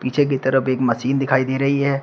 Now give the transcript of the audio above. पीछे की तरफ एक मशीन दिखाई दे रही है।